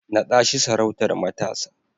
Naɗa shi sarautar matasa!